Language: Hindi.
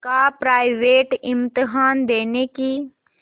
का प्राइवेट इम्तहान देने की